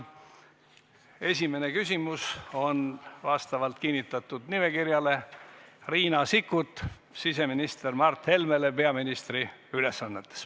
Esimene küsimus on vastavalt kinnitatud nimekirjale Riina Sikkutilt siseminister Mart Helmele, kes täidab peaministri ülesandeid.